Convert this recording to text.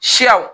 Siyaw